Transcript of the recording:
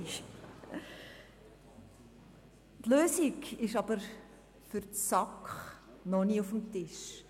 Für die SAK ist die Lösung noch nicht auf dem Tisch.